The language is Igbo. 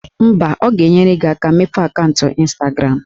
Mba, ọ ga-enyere gị aka mepee akaụntụ Ịnstagram